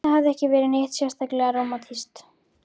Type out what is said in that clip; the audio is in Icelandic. Það hafði ekki verið neitt sérstaklega rómantískt.